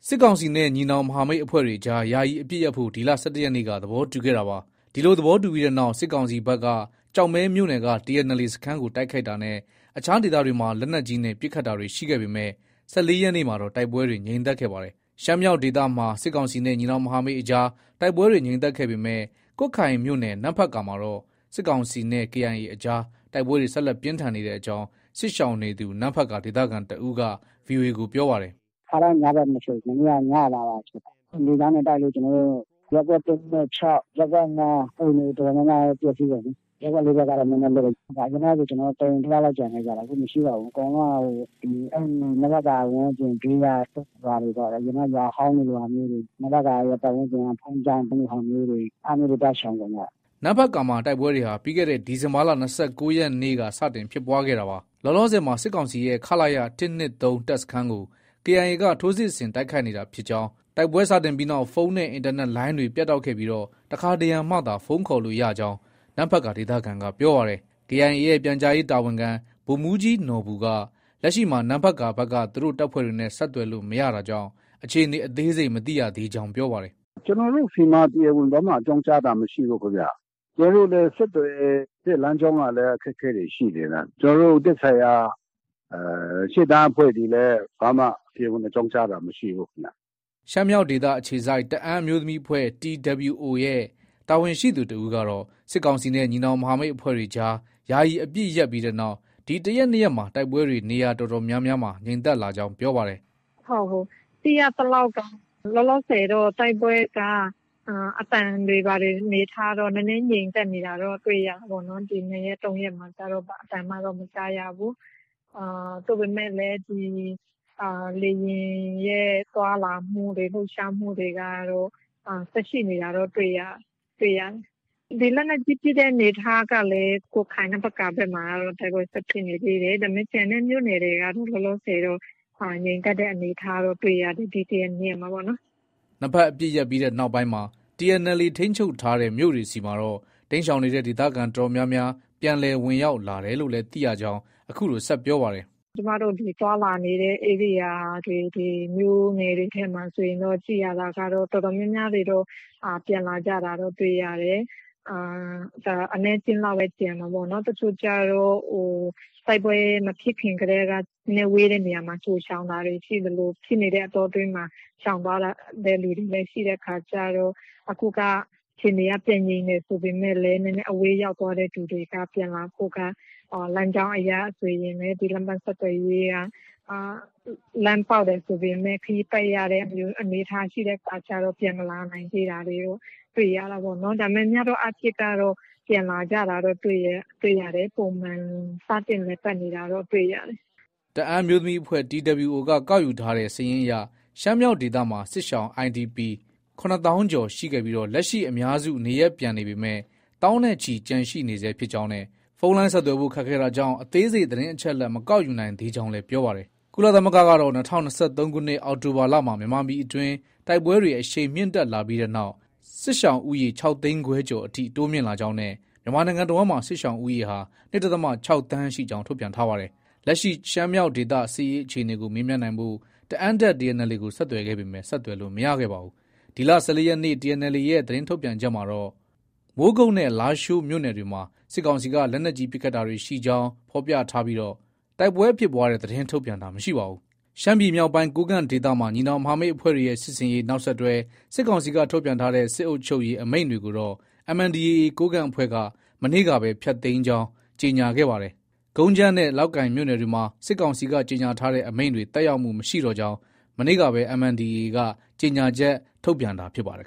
စစ်ကောင်စီနဲ့ ညီနောင်မဟာမိတ်အဖွဲ့တွေအကြား ယာယီအပစ်ရပ်ဖို့ ဒီလ ၁၁ရက်နေ့က သဘောတူခဲ့တာပါ။ ဒီလို သဘောတူပြီးနောက် စစ်ကောင်စီဘက်က ကျောက်မဲမြို့နယ်က TNLA စခန်းကို တိုက်ခိုက်တာနဲ့ အခြားဒေသတွေမှာ လက်နက်ကြီးနဲ့ ပစ်ခတ်တာတွေ ရှိခဲ့ပေမဲ့ ၁၄ရက်နေ့မှာတော့ တိုက်ပွဲတွေ ငြိမ်သက်ခဲ့ပါတယ်။ ရှမ်းမြောက်ဒေသမှာ စစ်ကောင်စီနဲ့ ညီနောင်မဟာမိတ် အကြား တိုက်ပွဲတွေ ငြိမ်သက်ခဲ့ပေမဲ့ ကွတ်ခိုင်မြို့နယ် နမ့်ဖတ်ကာမှာတော့ စစ်ကောင်စီနဲ့ KIA အကြား တိုက်ပွဲတွေ ဆက်လက်ပြင်းထန်နေကြောင်း စစ်ရှောင်နေသူ နမ့်ဖတ်ကာ ဒေသခံတစ်ဦးက VOA ကို ပြောပါတယ်။ “ ခါတိုင်း ညဘက်မဖြစ်ဘူး။ မနေ့က ညမှာပါ ဖြစ်တာ။ လေကြောင်းနဲ့ တိုက်လို့ ကျနော်တို့ ရပ်ကွက် ၁၊ ၂၊ ၆၊ ရပ်ကွက် ၅ က အိမ်တွေ တော်တော်များများလည်း ပျက်ဆီးကုန်ပြီ။ ရပ်ကွက် ၄ဘက်ကတော့ နည်းနည်းလွတ်လိမ့်မယ်။ အရင်တုံးကဆို ကျနော်တို့ တအိမ်တယောက်လောက်ကျန်တာ။ အခုမရှိတော့ဘူး။ အကုန်လုံးက နမ့်ဖတ်ကာ ဝန်းကျင် ဘေးကရွာတွေပေါ့။ အရင်တုံးက ရွာဟောင်းလိုဟာမျိုးတွေ။ နမ့်ဖတ်ကာဝန်းကျင်က ဘုန်းကြီးကျောင်းလိုဟာမျိုးတွေ အဲလိုမျိုးတွေမှာ သွားရှောင်ကုန်ကြတာ။ ” နမ့်ဖတ်ကာမှာ တိုက်ပွဲတွေဟာ ပြီးခဲ့တဲ့ ဒီဇင်ဘာလ ၂၉ရက်နေ့က စတင်ဖြစ်ပွားခဲ့တာပါ။ လောလောဆည်မှာ စစ်ကောင်စီရဲ့ ခလရ ၁၂၃ တပ်စခန်းကို KIA က ထိုးစစ်ဆင် တိုက်ခိုက်နေတာဖြစ်ကြောင်း၊ တိုက်ပွဲစတင်ပြီးနောက် ဖုန်းနဲ့ အင်တာနက်လိုင်းတွေလည်း ပြတ်တောက်ခဲ့ပြီး တခါတရံမှသာ ဖုန်းခေါ်ရကြောင်း နမ့်ဖတ်ကာ ဒေသခံက ပြောပါတယ်။ KIA ရဲ့ ပြန်ကြားရေးတာဝန်ခံ ဗိုလ်မှူးကြီးနော်ဘူက လက်ရှိမှာ နမ့်ဖတ်ကာဘက်က သူတို့ တပ်ဖွဲ့တွေနဲ့ ဆက်သွယ်လို့ မရတာကြောင့် အခြေအနေ အသေးစိတ်မသိရကြောင်း ပြောပါတယ်။ “ ကျနော်တို့ဆီမှာ တရားဝင် ဘာမှ အကြောင်းကြားတာမရှိဘူးခင်ဗျ။ ကျနော်တို့လည်းဆက်သွယ်တဲ့ လမ်းကြောင်းက အခက်အခဲတွေ ရှိနေတာ။ ကျနော်တို့ သက်ဆိုင်ရာ ရှေ့တန်းအဖွဲ့တွေလည်း တရားဝင် ကြောင်းကြားတာ ဘာမှ မရှိဘူးခင်ဗျ။” ရှမ်းမြောက်ဒေသ အခြေစိုက် တအာင်းအမျိုးသမီးအဖွဲ့ TWO ရဲ့ တာဝန်ရှိသူတဦးကတော့ စစ်ကောင်စီနဲ့ ညီနောင်မဟာမိတ်အဖွဲ့တွေ ယာယီအပစ်ရပ်ပြီးနောက် ဒီ တရက်၊ နှစ်ရက်မှာ တိုက်ပွဲတွေ နေရာအတော်များများ ငြိမ်သက်လာကြောင်း ပြောပါတယ်။ “ ဟုတ် သိရသလောက်က လောလောဆည်တော့ တိုက်ပွဲက အသံတွေ ဘာတွေ အနေအထားတော့ နည်းနည်းငြိမ်သက်နေတာတော့ တွေ့ရတာပေါ့နော်။ ဒီ ၂ရက်၊ ၃ရက်မှာတော့ ဘာအသံမှတော့ မကြားရဘူး။ သို့ပေမယ့်လည်း ဒီ လေယာဉ်ရဲ့ သွားလာမှုတွေ လှုပ်ရှားမှုတွေကတော့ ဆက်ရှိနေတာတော့ တွေ့ရတယ်။ ဒီလက်နက်ကြီး ပစ်တဲ့အနေအထားကလည်း ကွတ်ခိုင် နမ့်ဖတ်ကာဘက်မှာတော့ တိုက်ပွဲဆက် ဖြစ်နေသေးတယ်။ ဒါပေမဲ့ ကျန်တဲ့ မြို့နယ်တွေကတော့ လောလောဆည်တော့ ငြိမ်သက်တဲ့အနေအထားတော့ တွေ့ရတယ်။ ဒီ တရက်၊နှစ်ရက်မှာပေါ့နော်။” နှစ်ဘက်အပစ်ရပ်ပြီးနောက်မှာ TNLA ထိန်းချုပ်ထားတဲ့ မြို့တွေဆီမှာတော့ တိမ်းရှောင်နေတဲ့ ဒေသခံအတော်များများ ပြန်လည် ဝင်ရောက်လာတယ်လို့လည်း သိရကြောင်း အခုလို ဆက်ပြောပါတယ်။ “ကျမတို့တတွေ သွားလာနေတဲ့ ဧရိယာတွေ မြို့နယ်တွေထဲမှာဆိုရင်တော့ ကြည့်ရတာတော့ တော်တော်များများတွေတော့ ပြန်လာကြတာတွေ တွေ့ရတယ်။ အနည်းအကျဉ်းလောက်ပဲ ကျန်မှာပေါ့။ တချို့ကျတော့ တိုက်ပွဲမဖြစ်ခင်ကတည်းက နည်းနည်းဝေးတဲ့နေရာကို ကြို ရှောင်သလို၊ ဖြစ်နေတဲ့အတောအတွင်းမှာ ရှောင်သွားတဲ့သူတွေလည်း ရှိတဲ့အခါကျတော့ အခုက အခြေအနေက ပြန်ငြိမ်တယ် ဆိုပေမဲ့လည်း နည်းနည်းအဝေးရောက်သွားတဲ့သူတွေက ပြန်လာဖို့က လမ်းကြောင်းအရဆိုရင် လမ်းပန်းဆက်သွယ်ရေးက လမ်းပေါက်တယ်ဆိုပေမဲ့ ခရီးပတ်ရတဲ့အနေအထားမျိုးရှိတဲ့အခါကျတော့ ပြန်မလာ နိုင်သေးတာတော့ တွေ့ရတာပေါ့နော်။ ဒါပေမဲ့ များသောအားဖြင့်ကတော့ ပြန်လာကြတာတော့ တွေ့တယ်။ ပုံမှန် စတင်လည်ပတ်နေတာတော့ တွေ့ရတယ်။ ” တအာင်းအမျိုးသမီးအဖွဲ့ TWO က ကောက်ယူထားတဲ့စာရင်းအရ ရှမ်းမြောက်ဒေသမှာ စစ်ရှောင် IDPs ၇သောင်းကျော်ရှိခဲ့ပြီး လက်ရှိအများစုနေရပ်ပြန်ပေမဲ့ သောင်းနဲ့ချီ ကျန်ရှိနေဆဲဖြစ်ကြောင်းနဲ့ ဖုန်းလိုင်းဆက်သွယ်ဖို့ ခက်ခဲတာကြောင့် အသေးစိတ် သတင်းအချက်အလက် မကောက်ယူနိုင်သေးကြောင်း ပြောပါတယ်။ ကုလသမဂ္ဂကတော့ ၂၀၂၃ခုနှစ် အောက်တိုဘာလမှာ မြန်မာပြည်အတွင်း တိုက်ပွဲတွေ အရှိန်မြင့်တက်လာပြီးနောက် စစ်ရှောင်ဦးရေ ၆သိန်းခွဲကျော်အထိ တိုးမြင့်လာကြောင်း နဲ့ မြန်မာနိုင်ငံတဝှမ်းလုံးမှာ စစ်ရှောင်ဦးရေဟာ ၂ဒသမ ၆ သန်းရှိကြောင်း ထုတ်ပြန်ထားပါတယ်။ လက်ရှိ ရှမ်းမြောက်ဒေသ စစ်ရေးအခြေအနေကို မေးမြန်းနိုင်ဖို့ တအာင်းတပ် TNLA ကို ဆက်သွယ်ခဲ့ပေမဲ့ ဆက်သွယ်လို့ မရခဲ့ပါဘူး။ ဒီလ ၁၄ရက်နေ့ TNLA ရဲ့ သတင်းထုတ်ပြန်ချက်မှာတော့ ကတော့ မိုးကုတ်နဲ့ လားရှိုးမြို့နယ်တွေမှာ စစ်ကောင်စီက လက်နက်ကြီးပစ်ခတ်တာတွေ ရှိကြောင်း ဖော်ပြထားပြီး တိုက်ပွဲဖြစ်ပွားတဲ့သတင်းထုတ်ပြန်တာ မရှိပါဘူး ။ ရှမ်းပြည်မြောက်ပိုင်း ကိုးကန့်ဒေသမှာ ညီနောင်မဟာမိတ်အဖွဲ့တွေရဲ့ စစ်ဆင်ရေး နောက်ဆက်တွဲ စစ်ကောင်စီက ထုတ်ပြန်ထားတဲ့ စစ်အုပ်ချုပ်ရေး အမိန့်တွေကိုတော့ MNDAA ကိုးကန့်အဖွဲ့က မနေ့ကပဲ ပယ်ဖျက်ကြောင်း ကြေညာခဲ့တာပါ။ ကုန်းကြမ်းနဲ့ လောက်ကိုင်မြို့နယ်တွေမှာ စစ်ကောင်စီက ကြေညာထားတဲ့ အမိန့်တွေ သက်ရောက်မှု မရှိတော့ကြောင်း မနေ့ကပဲ MNDAA က ကြေညာချက် ထုတ်ပြန်တာ ဖြစ်ပါတယ်